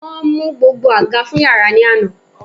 Won mu gbogbo aga fun yara ni ana